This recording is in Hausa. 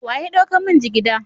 Wa ya dauka min jigiɗa?